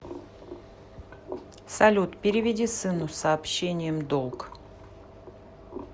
салют переведи сыну с сообщением долг